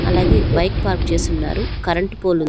అలాగే bike park చేసున్నారు. Current pole --